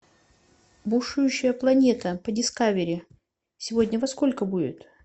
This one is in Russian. бушующая планета по дискавери сегодня во сколько будет